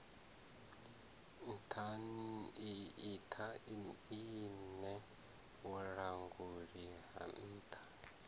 nṱha iṋe vhulanguli ha nṱha